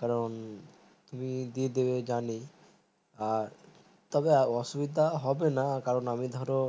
কারণ তুমি দিয়ে দিবে যানি আর তবে অসুবিধা হবে না কারণ আমি ধরো